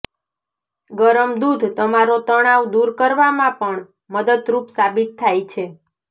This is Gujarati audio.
ગરમ દૂધ તમારો તણાવ દૂર કરવામાં પણ મદદરૂપ સાબિત થાય છે